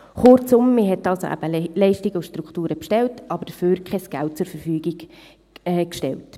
Kurzum: Man hat also eben Leistungen und Strukturen bestellt, aber dafür kein Geld zur Verfügung gestellt.